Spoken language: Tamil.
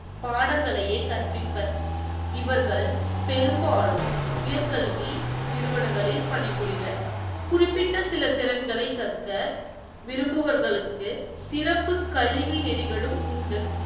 படங்களையே கற்பித்தார் அவர்கள் பெரும்பாலும் உயர்கல்வி நிறுவனங்களில் பணிபுரிவர் குறிப்பிட்ட சில திறன்களை கற்க விரும்புபவர்களுக்கு சிறப்பு கல்வி நெறிகளும் உண்டு.